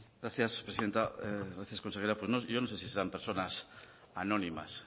gracias presidenta gracias consejera yo no sé si serán personas anónimas